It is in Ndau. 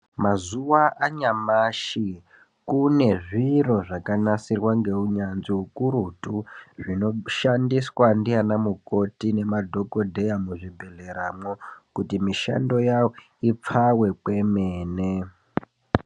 Mazuva anyamashi kune zviro zvaka nasirwa ngeu nyanzvi ukurutu zvino shandiswa ndiana mukoti ma dhokodheya mu zvi bhedhlera mwo kuti mishando yawo ipfawe kwemene.